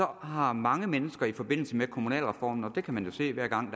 har mange mennesker i forbindelse med kommunalreformen og det kan man jo se hver gang